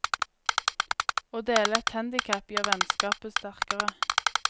Å dele et handicap gjør vennskapet sterkere.